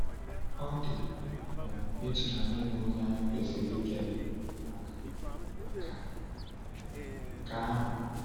Ọ dị um ịtụnanya ịma onye anyị kwesịrị ịkele maka maka um nke ahụ.